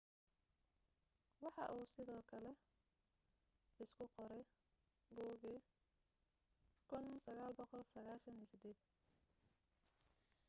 waxa uu sidoo kale isku qoray buugii 1998